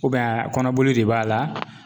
kɔnɔboli de b'a la.